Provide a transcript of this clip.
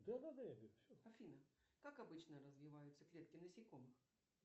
афина как обычно развиваются клетки насекомых